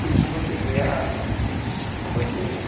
Pelo como eu peguei a a bandeja.